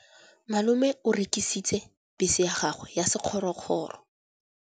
Malome o rekisitse bese ya gagwe ya sekgorokgoro.